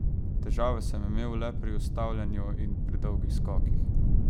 Težave sem imel le pri ustavljanju in pri dolgih skokih.